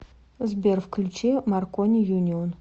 сбер включи маркони юнион